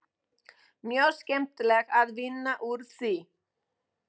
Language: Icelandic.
Mjög skemmtilegt að vinna úr því.